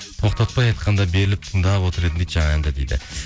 тоқтатпай айтқанда беріліп тыңдап отыр едім дейді жаңа әнді дейді